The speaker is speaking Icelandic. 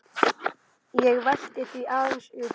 Ég velti því aðeins upp.